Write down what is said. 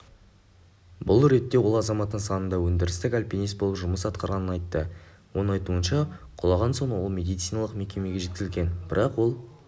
бұл ретте ол азамат нысанында өндірістік альпинист болып жұмыс атқарғанын айтты оның айтуынша құлаған соң ол медициналық мекемеге жеткізілген бірақ ол